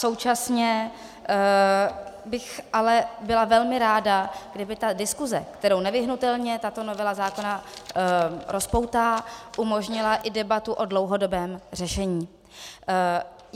Současně bych ale byla velmi ráda, kdyby ta diskuze, kterou nevyhnutelně tato novela zákona rozpoutá, umožnila i debatu o dlouhodobém řešení.